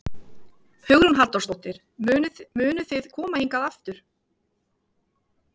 Hugrún Halldórsdóttir: Munuð þið koma hingað aftur?